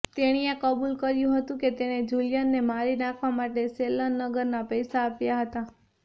તેણીએ કબૂલ કર્યું હતું કે તેણે જુલિયનને મારી નાખવા માટે શેલ્લેનગરના પૈસા આપ્યા હતા